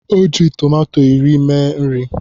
O ji tòmátò iri mee nri